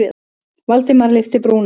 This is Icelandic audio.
Valdimar lyfti brúnum.